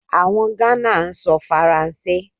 Àwọn Ghana ń sọ Faransé.